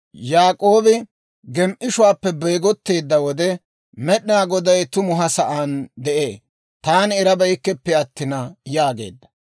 Yaak'oobi gem"ishuwaappe beegotteedda wode, «Med'inaa Goday tumu ha sa'aan de'ee; taani erabeykkeppe attin» yaageedda.